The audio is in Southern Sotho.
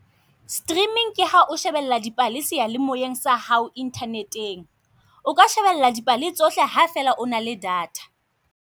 Streaming ke ha o shebella dipale seyalemoyeng sa hao Internet-eng. O ka shebella dipale tsohle ha fela o na le data.